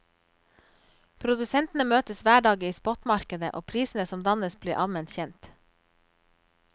Produsentene møtes hver dag i spotmarkedet, og prisene som dannes blir allment kjent.